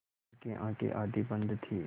उनकी आँखें आधी बंद थीं